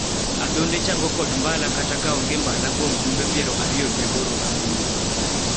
adhonde chango kod mbala kata ka onge mbala kuom jumbe piero ariyo gi aboro bang' wuok